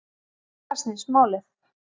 Um það snýst málið